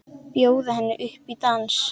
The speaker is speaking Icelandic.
Bjóða henni upp í dans!